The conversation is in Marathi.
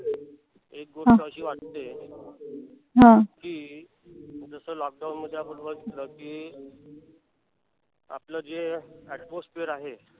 एक गोष्ट अशी वाटतीय कि जस lockdown मध्ये आपण बघितल कि आपल जे atmosphere आहे.